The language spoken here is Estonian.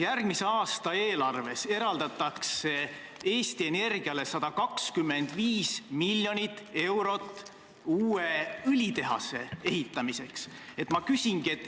Järgmise aasta eelarves eraldatakse Eesti Energiale 125 miljonit eurot uue õlitehase ehitamiseks.